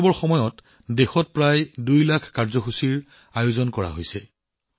অমৃত মহোৎসৱৰ সময়ত দেশত প্ৰায় দুই লাখ কাৰ্যসূচীৰ আয়োজন কৰা হৈছে